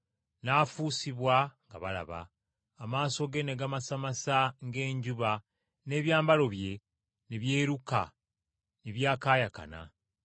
N’afuusibwa nga balaba, amaaso ge ne gamasamasa ng’enjuba n’ebyambalo bye ne byeruka ne byakaayakana.